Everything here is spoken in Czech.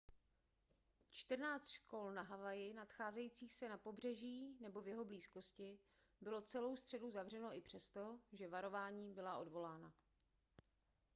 čtrnáct škol na havaji nacházejících se na pobřeží nebo v jeho blízkosti bylo celou středu zavřeno i přesto že varování byla odvolána